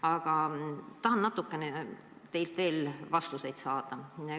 Aga tahan teilt natukene veel vastuseid saada.